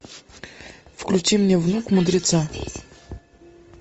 включи мне внук мудреца